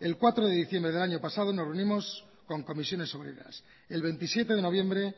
el cuatro de diciembre del año pasado nos reunimos con comisiones obreras el veintisiete de noviembre